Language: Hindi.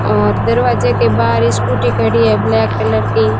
और दरवाजे के बाहर स्कूटी खड़ी है ब्लैक कलर की।